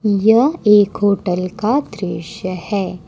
यह एक होटल का दृश्य है।